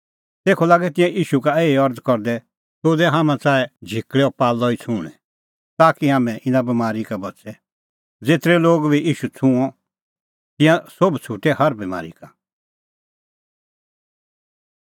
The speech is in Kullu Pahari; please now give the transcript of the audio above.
तेखअ लागै तिंयां ईशू का एही अरज़ करदै तूह दै हाम्हां च़ाऐ झिकल़ैओ पाल्लअ ई छुंहणैं ताकि हाम्हैं इना बमारी का बच़े ज़ेतरै लोगै बी ईशू छ़ुंअ तिंयां सोभ छ़ुटै हर बमारी का